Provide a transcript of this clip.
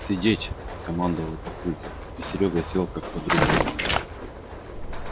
сидеть скомандовал папулька и серёга сел как подрубленный